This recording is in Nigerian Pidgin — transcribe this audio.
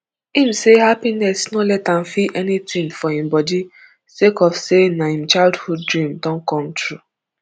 im say happiness no let am feel anytin for im body sake of say na im childhood dream don come true